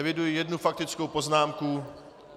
Eviduji jednu faktickou poznámku.